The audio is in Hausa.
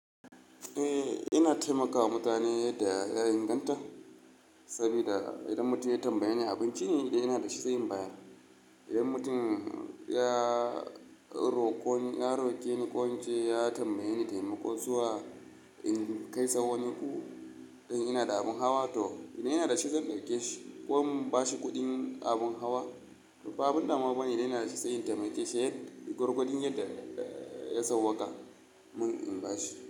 Eh, ina taimakawa mutane yadda ya inganta sabida idan mutum ya tambaye ni abinci ne idan ina dashi sai in bayar. Idan mutum ya roƙo ni, ya roƙe ni ƙwanƙwance ya tambaye ni taimako zuwa in kai sa wani gu, in inada abin hawa toh ina inada shi zan ɗauke shi ko in bashi kuɗin abin hawa. To ba abin damuwa bane idan inada dashi sai in taimake shi yadda gwargwadon yadda ya sauwaka mun in bashi.